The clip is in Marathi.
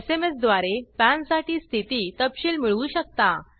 एसएमएस द्वारे पॅनसाठी स्थिती तपशील मिळवू शकता